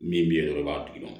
Min bɛ yen dɔrɔn k'a d'i ma